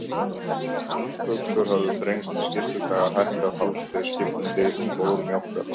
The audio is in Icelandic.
Buxur höfðu þrengst, skyrtukragar hækkað, hálstau skipt um lit, skór mjókkað.